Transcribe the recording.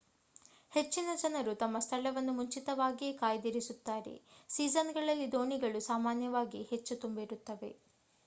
ಹೆಚ್ಚಿನ ಜನರು ತಮ್ಮ ಸ್ಥಳವನ್ನು ಮುಂಚಿತವಾಗಿಯೇ ಕಾಯ್ದಿರಿಸುತ್ತಾರೆ ಸೀಸನ್‌ಗಳಲ್ಲಿ ದೋಣಿಗಳು ಸಾಮಾನ್ಯವಾಗಿ ಹೆಚ್ಚು ತುಂಬಿರುತ್ತವೆ